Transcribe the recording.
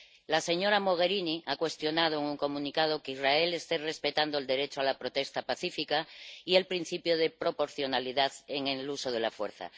La señora Mogherini ha cuestionado en un comunicado que Israel esté respetando el derecho a la protesta pacífica y el principio de proporcionalidad en el uso de la fuerza.